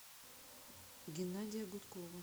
геннадия гудкова